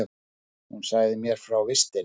Hún sagði mér frá vistinni.